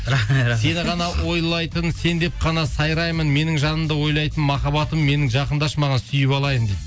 сені ғана ойлайтын сен деп қана сайраймын менің жанымды ойлайтын махаббатым менің жақындашы маған сүйіп алайын дейді